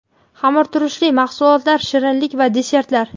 Xamirturushli mahsulotlar, shirinlik va desertlar.